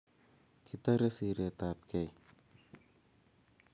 Kitorei siret ab gei